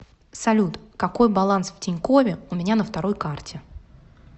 салют какой баланс в тинькове у меня на второй карте